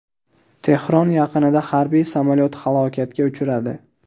Tehron yaqinida harbiy samolyot halokatga uchradi.